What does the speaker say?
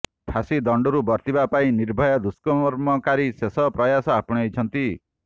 ଫାଶୀ ଦଣ୍ଡରୁ ବର୍ତ୍ତିବା ପାଇଁ ନିର୍ଭୟା ଦୁଷ୍କର୍ମକାରୀ ଶେଷ ପ୍ରୟାସ ଆପଣେଇଛନ୍ତି